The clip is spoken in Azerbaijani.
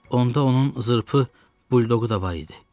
Onda onun zırpı buldoqu da var idi.